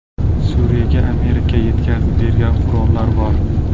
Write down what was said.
Suriyaga Amerika yetkazib bergan qurollar bor.